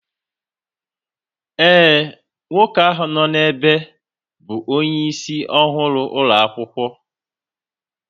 Ee, nwoke ahụ nọ n'ebe bụ onyeisi ọhụrụ ụlọ akwụkwọ